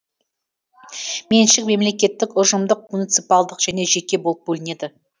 меншік мемлекеттік ұжымдық муниципалдық және жеке болып бөлінеді